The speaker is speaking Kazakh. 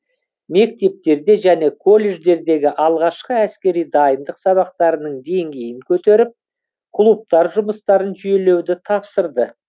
мектептерде және колледждердегі алғашқы әскери дайындық сабақтарының деңгейін көтеріп клубтар жұмыстарын жүйелеуді тапсырды